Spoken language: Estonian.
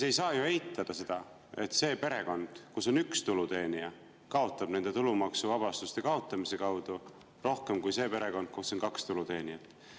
Ei saa ju eitada seda, et see perekond, kus on üks tuluteenija, kaotab selle tulumaksuvabastuse kaotamise tõttu rohkem kui see perekond, kus on kaks tuluteenijat.